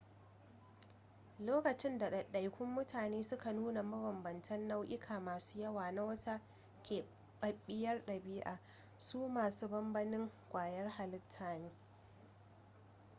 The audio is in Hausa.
lokacin da ɗaiɗaikun mutane suka nuna mabambantan nau'uka masu yawa na wata keɓaɓɓiyar ɗabi'a su masu banbanin ƙwayar halitta ne